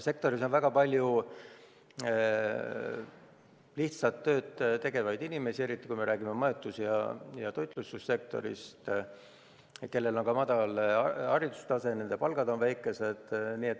Sektoris on väga palju lihtsat tööd tegevaid inimesi – eriti majutus- ja toitlustussektoris –, kellel on madal haridustase ja kelle palgad on väikesed.